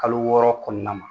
Kalo wɔɔrɔ kɔnɔna na